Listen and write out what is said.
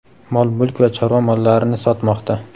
mol-mulk va chorva mollarini sotmoqda.